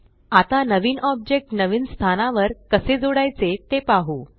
आता नवीन ऑब्जेक्ट नवीन स्थानावर कसे जोडायचे ते पाहु